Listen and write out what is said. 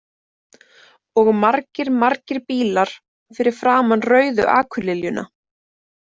Og margir margir bílar fyrir framan Rauðu akurliljuna.